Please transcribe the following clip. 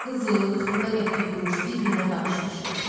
Qızıl, xırda qəpik, quruş bir-birinə qarışmışdı.